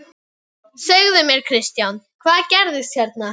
Segðu mér Kristján, hvað gerðist hérna?